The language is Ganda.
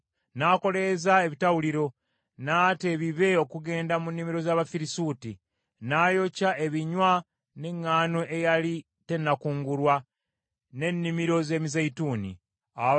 N’akoleeza ebitawuliro, n’ata ebibe okugenda mu nnimiro z’Abafirisuuti. N’ayokya ebinywa n’eŋŋaano eyali tennakungulwa, n’ennimiro z’emizeeyituuni n’ennimiro z’emizabbibu.